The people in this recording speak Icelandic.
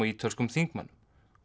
ítölskum þingmönnum